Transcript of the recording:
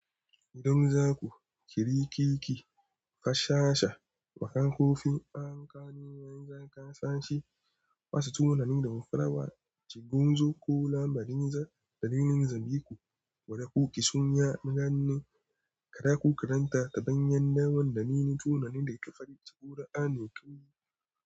Idan zaku, ƙiri keke, kasha sha, baƙan kofi, anƙano, yan zanga, ƙasashe, wasu tunani da mafarawa, ci guntu ko lamari, dalilin zobe ku, wada ku ki sun yi ranin, kada ku karanta daɓen yan dawon da nini tunani da ƙafadici ko ra'ani tuni.